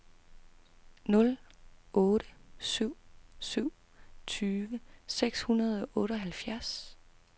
nul otte syv syv tyve seks hundrede og otteoghalvfjerds